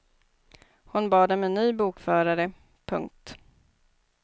Hon bad om en ny bokförare. punkt